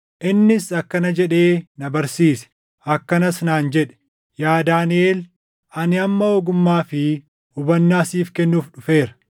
Innis akkana jedhee na barsiise; akkanas naan jedhe; “Yaa Daaniʼel ani amma ogummaa fi hubannaa siif kennuuf dhufeera.